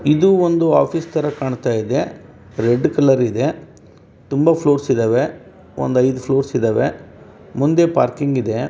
ಇದು ಒಂದು ಆಫೀಸ್ ತರ ಕಂಠ ಇದೆ ರೆಡ್ ಕಲರ್ ಇದೆ ತುಂಬ ಫ್ಲೂರ್ಸ್ ಇದ್ದವೇ ಒಂದ್ ಐದ್ ಫ್ಲೂರ್ಸ್ ಇದ್ದವೇ ಮುಂದೆ ಪಾರ್ಕಿಂಗ್ ಇದೆ.